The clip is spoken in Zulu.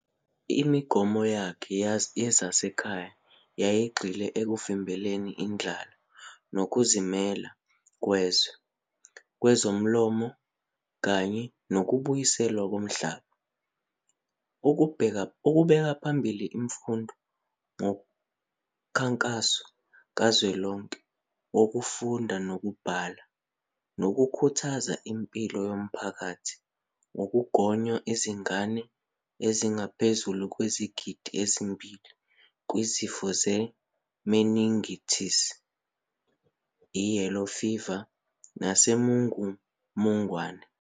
Imigomo yakhe yezasekhaya yayigxile ekuvimbeleni indlala ngokuzimela kwezwe kwezolimo kanye nokubuyiselwa komhlaba, ukubeka phambili imfundo ngomkhankaso kazwelonke wokufunda nokubhala nokukhuthaza impilo yomphakathi ngokugonya izingane ezingaphezu kwezigidi ezimbili kwizifo ze-meningitis, i-yellow fever nesimungumungwane.